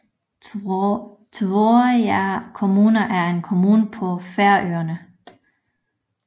Tvøroyrar kommuna er en kommune på Færøerne